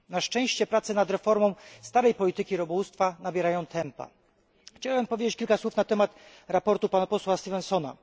Na szczęście prace nad reformą starej polityki rybołówstwa nabierają tempa. Chciałbym powiedzieć kilka słów na temat sprawozdania posła Stevensona.